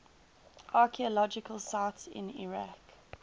archaeological sites in iraq